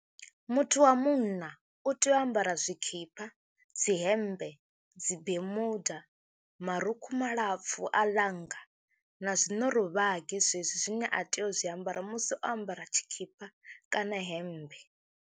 Muthu wa munna u tea u ambara zwikhipa, dzi hembe, dzi Bermuda, marukhu malapfhu a ḽanga, na zwinorovhagi zwezwi zwine a tea u zwiambara musi o ambara tshikhipa kana hemmbe.